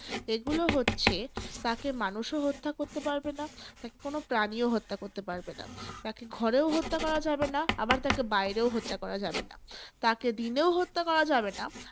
এগুলো হচ্ছে, তাকে মানুষও হত্যা করতে পারবেনা, তাকে কোন প্রাণীও হত্যা করতে পারবেনা। তাকে ঘরেও হত্যা করা যাবেনা আবার তাকে বাইরেও হত্যা করা যাবে না। তাকে দিনেও হত্যা করা যাবে না।